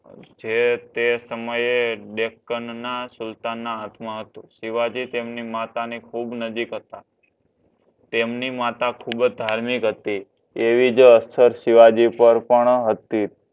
જે તે સમયે ડેઈકન ના સુલતાન ના હાથમાં હતું શિવાજી તેમની માતાની ખૂબ નજીક હતા તેમની માતા ખૂબ જ ધાર્મિક હતા એવી જ અસર શિવાજી પર પણ હતી